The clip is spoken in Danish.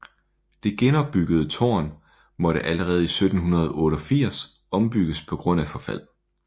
Det genopbyggede tårn måtte allerede i 1788 ombygges på grund af forfald